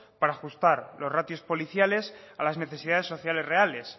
para ajustar los ratios policiales a las necesidades sociales reales